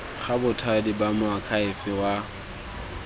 ga bothati ba moakhaefe wa